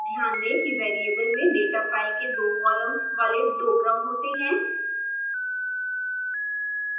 ध्यान दें कि वेरिएबल में डेटा फ़ाइल के दो कॉलम्स वाले दो क्रम होते हैं